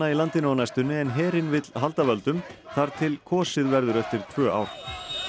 í landinu á næstunni en herinn vill halda völdum þar til kosið verður eftir tvö ár